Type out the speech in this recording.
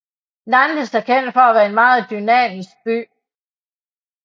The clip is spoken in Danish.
Nantes er kendt for at være en meget dynamisk by